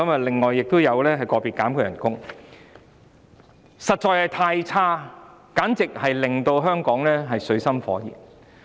"林鄭"的表現實在太差，簡直令香港水深火熱。